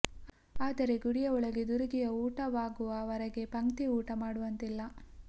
ಆದರೆ ಗುಡಿಯ ಒಳಗೆ ದುರುಗಿಯ ಊಟವಾಗುವ ವರೆಗೆ ಪಂಕ್ತಿ ಊಟ ಮಾಡುವಂತಿಲ್ಲ